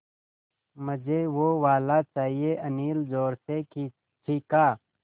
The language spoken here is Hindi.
मझे वो वाला चाहिए अनिल ज़ोर से चीख़ा